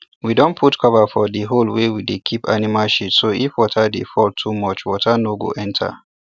we don put cover for the hole wey we dey keep animal shit so if water dey fall too much water no go enter